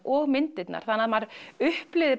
og myndirnar þannig maður upplifir